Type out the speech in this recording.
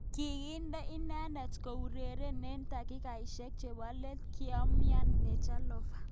Kikinde inendet koureren eng takikaishek chebo let kingoumian Dejan Lovren.